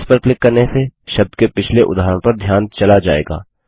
previous पर click करने से शब्द के पिछले उदाहरण पर ध्यान चला जाएगा